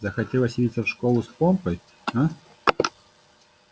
захотелось явиться в школу с помпой а